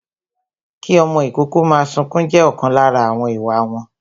Kí ọmọ ìkókó máa sunkún jẹ́ ọ̀kan lára àwọn ìwà wọn